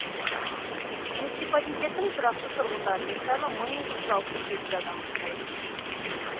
муниципалитеттің тұрақты тұрғындарының саны мың екі жүз алпыс сегіз адамды құрайды